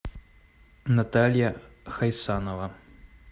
наталья хайсанова